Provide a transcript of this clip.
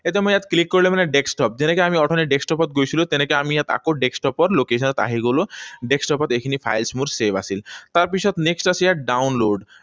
এইটো মই ইয়াত click কৰিলে মানে desktop, যেনেকৈ আমি অথনি desktop ত গৈছিলো, তেনেকৈ আমি ইয়াত আকৌ desktop ত location ত আহি গলো। Desktop ত এইখিনি files মোৰ save আছিল। তাৰপিছত next আছে ইয়াত download